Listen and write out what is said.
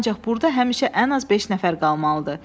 Ancaq burda həmişə ən az beş nəfər qalmalıdır.